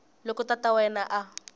loko tata wa yena a